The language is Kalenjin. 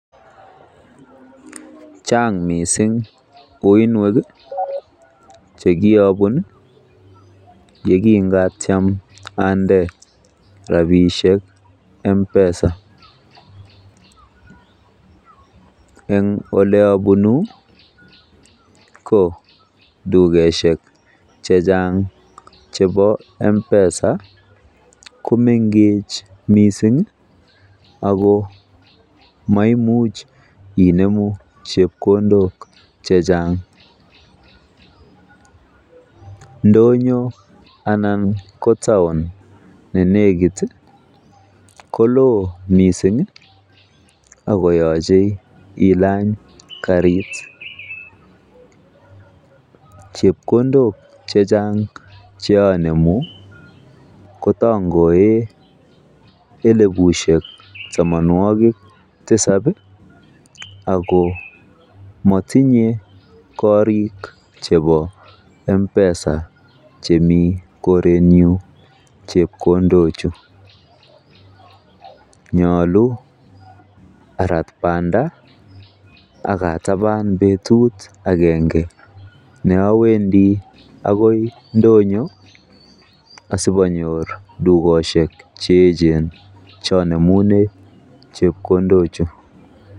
Chang mising uiynwek che kirobun ye kingatyem onde rabishek M-Pesa. En ole abunu ko dukosiek che chang chebo M-Pesa komengech mising ago maimuch inemu chepkondok che chang. Ndonyo anan ko taon ne negit ko loo mising ago yoche ilany karit, chepkondok che chang che anemu kotongoen elibushek tamanwogik tisab ago motinye korik chebo M-Pesa chemi korenyun, chepkondok chu. Nyolu arat banda ak ataban betut agenge ne awendii agoi ndonyo asianyor dukosiek che eechen che anemunen chepkondochu.